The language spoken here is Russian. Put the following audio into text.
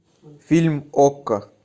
фильм окко